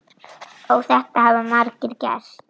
Og þetta hafa margir gert.